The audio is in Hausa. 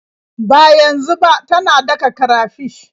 Ba yanzu ba, tana daka karafish.